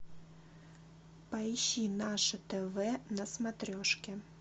поищи наше тв на смотрешке